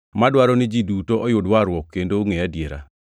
madwaro ni ji duto oyud warruok kendo ongʼe adiera.